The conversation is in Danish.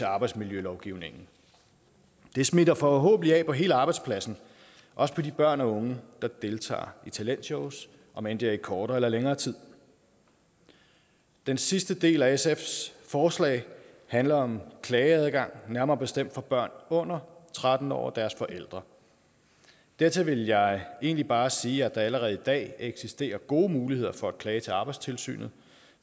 arbejdsmiljølovgivningen det smitter forhåbentlig af på hele arbejdspladsen også på de børn og unge der deltager i talentshows omend det er i kortere eller længere tid den sidste del af sfs forslag handler om klageadgang nærmere bestemt for børn under tretten år og deres forældre dertil vil jeg egentlig bare sige at der allerede i dag eksisterer gode muligheder for at klage til arbejdstilsynet